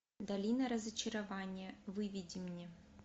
долина разочарования выведи мне